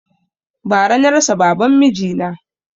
Bara na rasa baban miji na